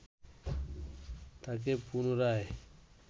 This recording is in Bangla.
তাঁকে পুনরায়